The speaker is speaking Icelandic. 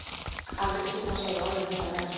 Aldrei skyldi hún segja orð um þetta meir.